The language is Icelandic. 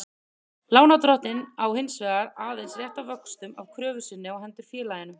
Lánardrottinn á hins vegar aðeins rétt á vöxtum af kröfu sinni á hendur félaginu.